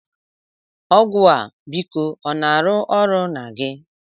Ọgwụ a, biko ọ na-arụ ọrụ na gị?